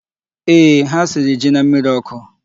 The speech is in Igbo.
Ee, ha siri ji na mmịrị ọkụ.